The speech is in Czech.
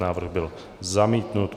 Návrh byl zamítnut.